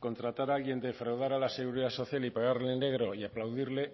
contratar a alguien defraudar a la seguridad social y pagarle en negro y aplaudirle